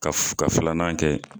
Ka ka filanan kɛ.